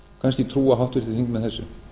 kannski trúa háttvirtir þingmenn þessu